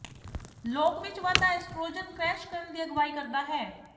ਲੋਕ ਵਿੱਚ ਵਾਧਾ ਐਸਟ੍ਰੋਜਨ ਕਰੈਸ਼ ਕਰਨ ਦੀ ਅਗਵਾਈ ਕਰਦਾ ਹੈ